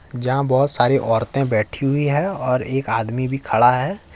जहां बहोत सारी औरतें बैठी हुई है और एक आदमी भी खड़ा है।